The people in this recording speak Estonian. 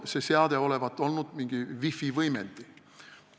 See seade olevat olnud mingi wifi võimendi.